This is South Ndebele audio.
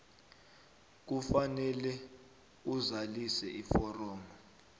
kufanele azalise iforomo